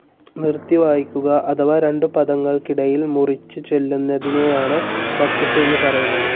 നിറുത്തി വായിക്കുക അഥവാ രണ്ടു പദങ്ങൾക്കിടയിൽ മുറിച്ചു ചൊല്ലുന്നതിനെയാണ് വഖ്‌ഫ് എന്നു പറയുന്നത്.